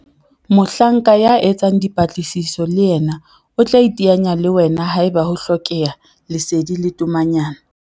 Mohlanka ya etsang dipatlisiso le yena o tla iteanya le wena haeba ho hlokeha lesedi le tomanyana.